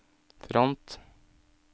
front